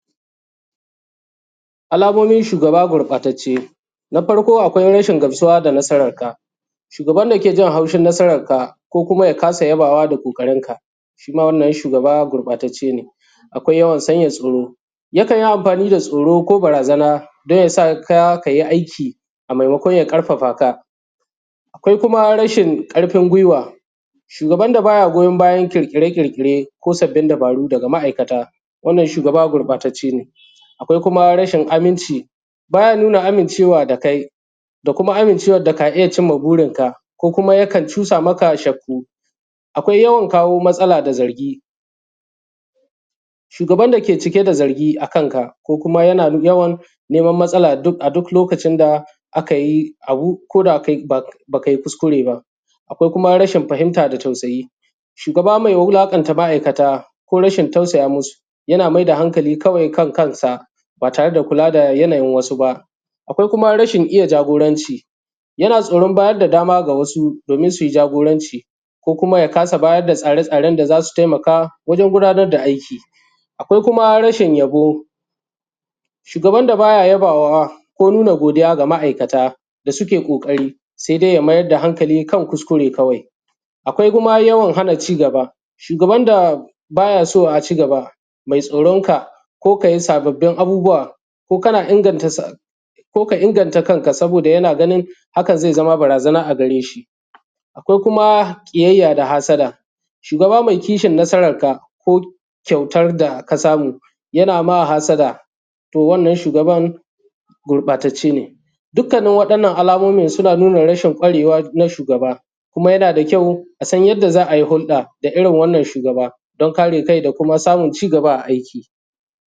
alamomin shugaba gurɓatacce na farko akwai rashin gamsuwa da nasararka shugaban da ke jin haushin nasararka kuma ya kasa yabawa da ƙoƙarinka shi ma wannan shugaba gurɓatacce ne akwai yawan sanya tsoro yakan yi amfani da tsoro ko barazana don ya sa ka yi aiki a maimakon ƙarfaɸa ka akwai kuma rashin ƙarfin gwiwa shugaban da ba ya goyon bayan ƙirƙire ƙirƙire ko sabbin dabaru daga maˀaikata wannan shugaba gurɓatacce ne akwai kuma rashin aminci ba ya nuna amincewa da kai da kuma amincewar da ka iya cimma burinka ko kuma yakan cusa maka shakku akwai yawan kawo matsala da zargi shugaban da ke cike da zargi a kanka ko kuma yana yawan kawo matsala a duk lokacin da aka yi abu ko da kai ba ka yi kuskure ba akwai kuma rashin fahimta da tausayi shugaba mai wulaƙanta maˀaikata ko rashin tausaya musu yana mai da hankali kawai kan kansa ba tare da kula da yanayin wasu ba akwai kuma rashin iya jagoranci yana tsoron bayar da dama ga wasu don su yi jagoranci ko kuma ya kasa ba da tsare tsaren da za su taimaka don gudanar da aiki akwai kuma rashin yabo shugaban da ba ya yabawa ko nuna godiya da ma’aikata da suke ƙoƙari sai dai ya mai da hankali kan kuskure kawai akwai kuma yawan hana ci gaba shugaban da ba ya so a ci gaba mai tsoronka ko ka yi sababbin abubuwa ko kana inganta ko ka inganta kanka saboda yana ganin hakan zai zama barazana a gare shi ko kuma ƙiyayya da hassada shugaba mai kishin nasararka ko kyautar da ka samu yana ma hassada to wannan shugaba gurɓatacce ne dukkanin waɗannan alamomin suna nuna rashin ƙwarewa na shugaba kuma yana da kyau a san yadda za a yi hulɗa: da irin wannan shugaba don kare kai da kuma samun ci gaba a aiki